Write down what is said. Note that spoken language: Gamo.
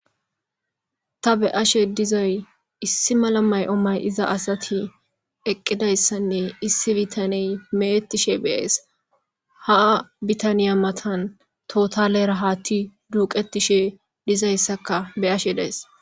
Ta be'ashe dizay issi mala may7o may iza asati eqqidayssanne issi bitaney meettishe beyees haa bitaniya matan tootalerahaatti duuqetishe dizayssaka be ashe dayss.